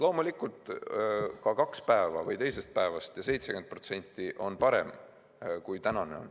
Loomulikult, ka teisest päevast ja 70% on parem kui tänane.